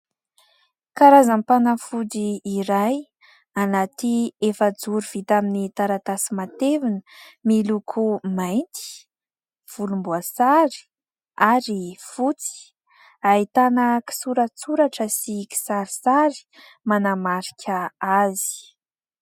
Karazam-panafody iray : anaty efajoro vita amin'ny taratasy matevina, miloko mainty volomboasary ary fotsy, ahitana kisoratsoratra sy kisarisary manamarika azy.